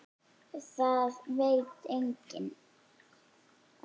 Það veit enginn